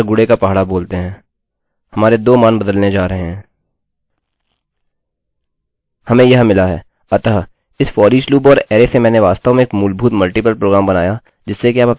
अतः इस foreach loop और अरैarray से मैंने वास्तव में एक मूलभूत मल्टिपल प्रोग्राम बनाया जिससे कि आप अपने पसंद की संख्या के किसी भी सेट के लिए टाइम्स टेबलtimes table देख सकते हैं